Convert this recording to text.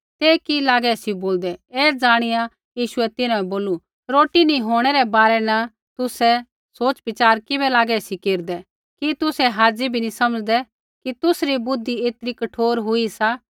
ते कि लागै सी बोलदै ऐ ज़ाणिया यीशुऐ तिन्हां बै बोलू रोटी नी होंणै रै बारै न तुसै किबै लागै सी सोच़विचार केरदै कि तुसै हाज़ी बी नी समझ़दै कि तुसरी बुद्धि ऐतरी कठोर हुई सा